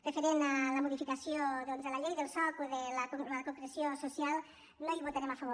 referent a la modificació doncs de la llei del soc o a la concreció social no hi votarem a favor